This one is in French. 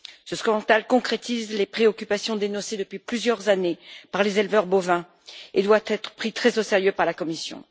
Ce scandale concrétise les préoccupations dénoncées depuis plusieurs années par les éleveurs bovins et doit être pris très au sérieux par la Commission.